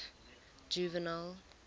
juvenal